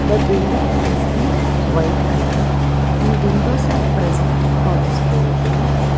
the building is in white colour and windows are present for this building.